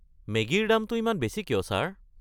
মেগীৰ দামটো ইমান বেছি কিয়, ছাৰ?